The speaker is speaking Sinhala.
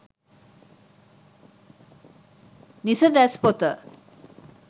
nisadas potha